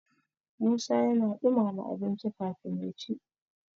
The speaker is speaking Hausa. musa yana dumama abinci kafin ya ci